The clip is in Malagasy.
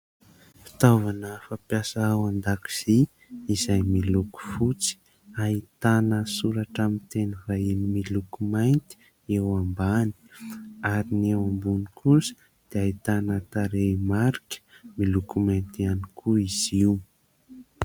Fitaovana fampiasa ao an-dakozia izay miloko fotsy. Ahitana soratra amin'ny teny vahiny miloko mainty eo ambany ary ny eo ambony kosa dia ahitana tarehimarika miloko mainty ihany koa izy io.